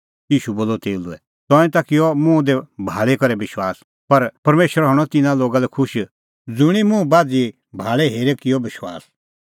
ईशू बोलअ तेऊ लै तंऐं ता किअ मुंह दी भाल़ी हेरी करै विश्वास पर परमेशरा हणअ तिन्नां लोगा लै खुश ज़ुंणी मुंह बाझ़ी भाल़ै हेरै किअ विश्वास